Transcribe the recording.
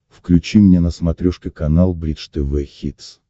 включи мне на смотрешке канал бридж тв хитс